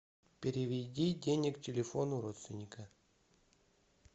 переведи денег телефону родственника